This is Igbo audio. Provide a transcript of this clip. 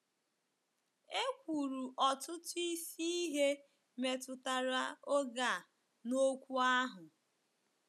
E kwuru ọtụtụ isi ihe metụtara oge a n'okwu ahụ.